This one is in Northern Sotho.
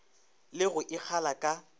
le go e kgala ka